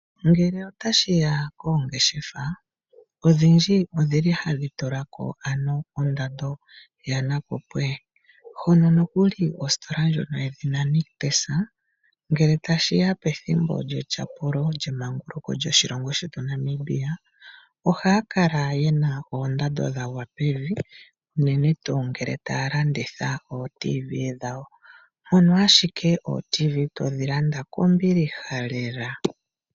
Ngele tashiya koongeshefa odhindji odhili ha dhi tulako ondando yanakupwe hono nokuli kositola ndjoka yedhina nictus ngele tashiya pethimbo lyetyapulo lyemanguluko lyoshilongo shetu Namibia ohaakala yena oondando dhagwa pevi uunene ngele taalanditha ooTV dhawo, mpono ashike ooTV dhawo todhi landa kombilihelela.